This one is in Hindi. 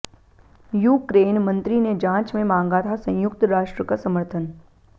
यूक्रेन मंत्री ने जांच में मांगा था संयुक्त राष्ट्र का समर्थन